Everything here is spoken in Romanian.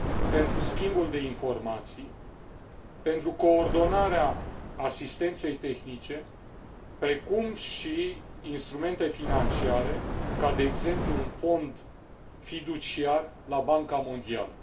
pentru schimbul de informații, pentru coordonarea asistenței tehnice, precum și instrumente financiare, ca de exemplu un fond fiduciar la Banca Mondială.